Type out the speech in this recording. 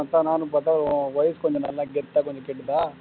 அதத்தான் நானும் பாத்தா உன் voice கொஞ்சம் நல்லா கெத்தா கேட்டுதா